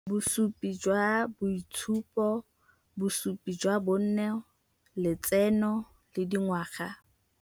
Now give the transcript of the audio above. Bosupi jwa boitshupo, bosupi jwa bonno, letseno le dingwaga.